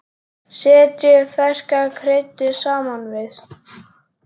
Setjið ferska kryddið saman við.